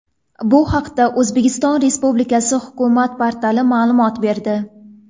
Bu haqda O‘zbekiston Respublikasi hukumat portali ma’lumot berdi .